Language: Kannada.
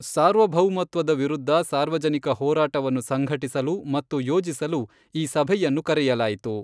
ಸಾರ್ವಭೌಮತ್ವದ ವಿರುದ್ಧ ಸಾರ್ವಜನಿಕ ಹೋರಾಟವನ್ನು ಸಂಘಟಿಸಲು ಮತ್ತು ಯೋಜಿಸಲು ಈ ಸಭೆಯನ್ನು ಕರೆಯಲಾಯಿತು.